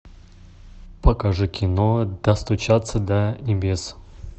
покажи кино достучаться до небес